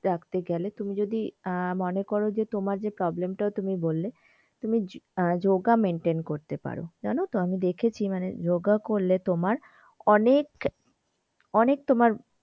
রাখতে গেলে তুমি যদি আহ মনে করো তোমার যে problem টা তুমি বললে তুমি যোগা maintain করতে পারো জানতো আমি দেখেছি মানে যোগা করলে তোমার অনেক অনেক তোমার,